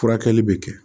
Furakɛli bɛ kɛ